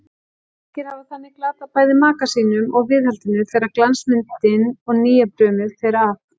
Margir hafa þannig glatað bæði maka sínum og viðhaldinu þegar glansmyndin og nýjabrumið fer af.